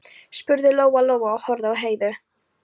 spurði Lóa Lóa og horfði á Heiðu.